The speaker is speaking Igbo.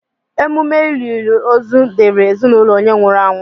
Emume olili ozu dịịrị ezinaụlọ onye nwụrụ anwụ.